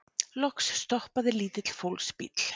Loks stoppaði lítill fólksbíll.